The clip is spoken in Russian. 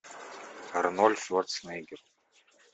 арнольд шварценеггер